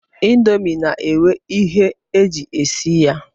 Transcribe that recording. Ndomi na-enwe ihe e ji esi ya